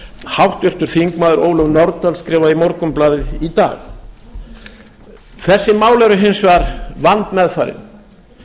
háttvirtur þingmaður ólöf nordal skipaði í morgunblaðið í dag þessi mál eru hins vegar vandmeðfarin